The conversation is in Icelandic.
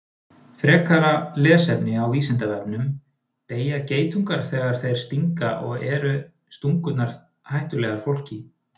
Frekara lesefni á Vísindavefnum: Deyja geitungar þegar þeir stinga og eru stungurnar hættulegar fólki?